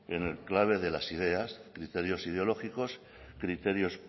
en clave de las ideas criterios ideológicos criterios